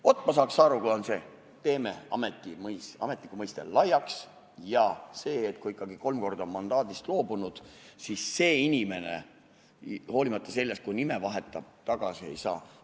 Vaat, ma saaks aru sellest, kui me teeme ametniku mõiste laiaks ja et siis, kui ikkagi on kolm korda mandaadist loobutud, siis see inimene, hoolimata sellest, kui ta ka nime vahetab, uuesti kandideerida ei saa.